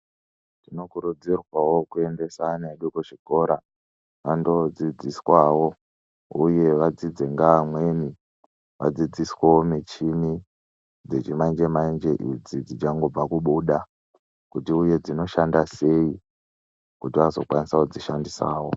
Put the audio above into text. Tinokurudzirwawo kuendesa ana edu kuzvikora, andoodzidziswawo uye vadzidze ngeamweni, vadzidziswewo michini dzechimanje-manje, idzi dzichangobva kubuda, kuti uye dzinoshanda sei, kuti azokwanisa kudzishandidawo.